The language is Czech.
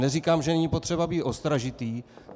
Neříkám, že není potřeba být ostražitý.